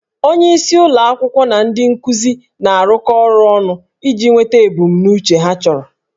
Onyeisi ụlọ akwụkwọ na ndị nkuzi na-arụkọ ọrụ ọnụ iji nweta ebumnuche ha chọrọ